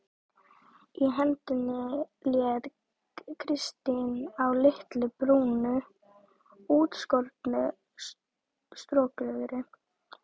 Í hendinni hélt Kristín á litlu, brúnu, útskornu strokleðri.